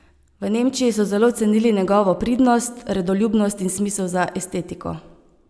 V Nemčiji so zelo cenili njegovo pridnost, redoljubnost in smisel za estetiko.